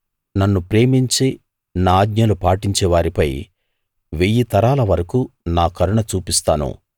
నన్ను ప్రేమించి నా ఆజ్ఞలు పాటించే వారిపై వెయ్యి తరాల వరకూ నా కరుణ చూపిస్తాను